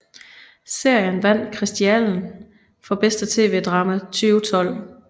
Serien vandt Kristiallen for bedste TV drama 2012